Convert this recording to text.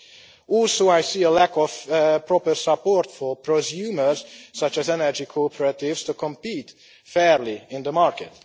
I also see a lack of proper support for prosumers, such as energy cooperatives, to compete fairly in the market.